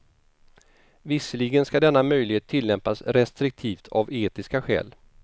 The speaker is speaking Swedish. Visserligen ska denna möjlighet tillämpas restriktivt av etiska skäl.